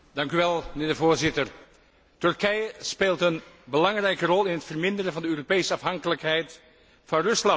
Mijnheer de Voorzitter, Turkije speelt een belangrijke rol in het verminderen van de Europese afhankelijkheid van Rusland.